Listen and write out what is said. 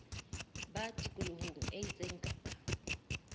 ba tikoloho e itseng kapa